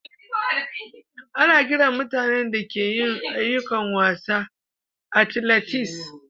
Ana kiran mutane da ke yin ayukokin wasa "athletes."